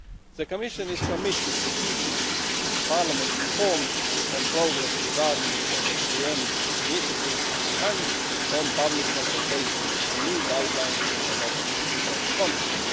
The Commission is committed to keeping Parliament informed on progress regarding the SAM initiative and on public consultations and new guidelines adopted in that context.